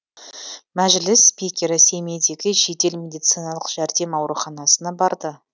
мәжіліс спикері семейдегі жедел медициналық жәрдем ауруханасына барды